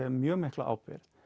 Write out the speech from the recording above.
mjög mikla ábyrgð